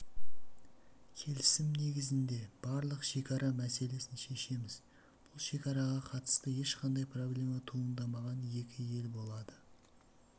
келісім негізінде барлық шекара мәселесін шешеміз бұл шекараға қатысты ешқандай проблема туындамаған екі ел болады